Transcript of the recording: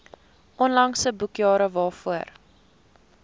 onlangse boekjare waarvoor